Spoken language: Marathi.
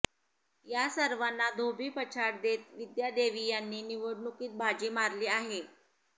या सर्वांना धोबीपछाड देत विद्या देवी यांनी निवडणूकीत बाजी मारली आहे